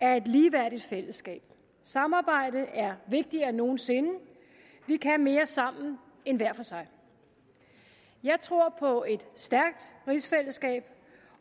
er et ligeværdigt fællesskab samarbejde er vigtigere end nogen sinde vi kan mere sammen end hver for sig jeg tror på et stærkt rigsfællesskab